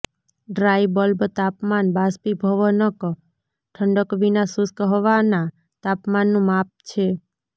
dry bulb તાપમાન બાષ્પીભવનક ઠંડક વિના શુષ્ક હવાના તાપમાનનું માપ છે